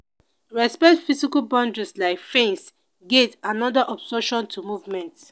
respect physical boundaries like fence gate and oda obstruction to movement